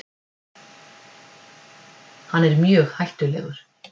Hann er mjög hættulegur.